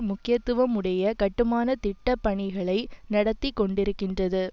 முக்கியத்துவம் உடைய கட்டுமான திட்டபணிகளை நடத்தி கொண்டிருக்கின்றது